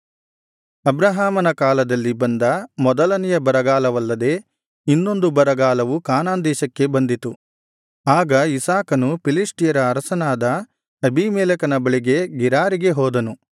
ಅಬ್ರಹಾಮನ ಕಾಲದಲ್ಲಿ ಬಂದ ಮೊದಲನೆಯ ಬರಗಾಲವಲ್ಲದೆ ಇನ್ನೊಂದು ಬರಗಾಲವು ಕಾನಾನ್ ದೇಶಕ್ಕೆ ಬಂದಿತು ಆಗ ಇಸಾಕನು ಫಿಲಿಷ್ಟಿಯರ ಅರಸನಾದ ಅಬೀಮೆಲೆಕನ ಬಳಿಗೆ ಗೆರಾರಿಗೆ ಹೋದನು